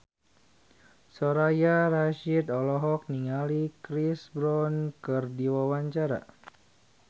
Soraya Rasyid olohok ningali Chris Brown keur diwawancara